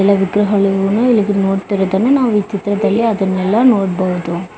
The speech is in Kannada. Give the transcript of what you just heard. ಮತ್ತೆ ಎಲ್ಲಾ ವಿಗ್ರಹಗಳುನ್ನು ಇಲ್ಲಿಗೆ ನೋಡತ್ತಿರೋದನ್ನು ನಾವು ಈ ಚಿತ್ರದಲ್ಲಿ ಅದನೆಲ್ಲಾ ನೋಡಬಹುದು .